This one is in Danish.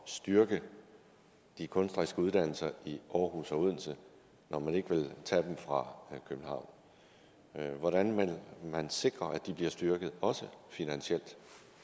styrke de kunstneriske uddannelser i aarhus og odense når man ikke vil tage dem fra københavn hvordan vil man sikre at de bliver styrket også finansielt